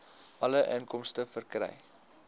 alle inkomste verkry